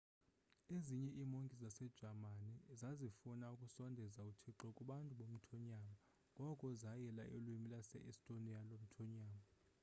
ezinye iimonki zasejamani zazifuna ukusondeza uthixo kubantu bomthonyama ngoko zayila ulwimi lwase-estonia lomthonyama